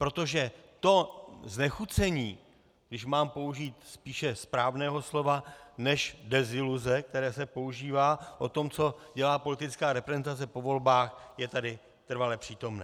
Protože to znechucení, když mám použít spíše správného slova než deziluze, které se používá, o tom, co dělá politická reprezentace po volbách, je tady trvale přítomné.